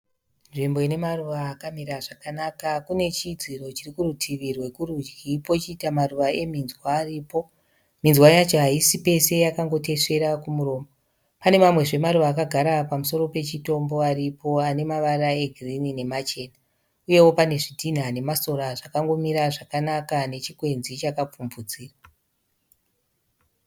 Nzvimbo ine maruva akamira zvakanaka. Kune chidziro chiri kurutivi rwekurudyi pochiita maruva eminzwa aripo. Minzwa yacho haisi pese yakangotesvera kumuromo. Pane mamwezve maruva akagara pamusoro pechitombo aripo ane mavara egirini namachena uyewo pane zvitinha nemasora zvakangomira zvakanaka nechikwenzi chakapfumvudzira.